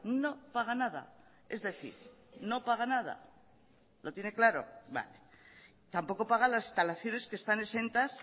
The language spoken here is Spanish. no paga nada es decir no paga nada lo tiene claro tampoco pagan las instalaciones que están exentas